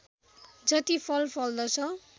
जति फल फल्दछ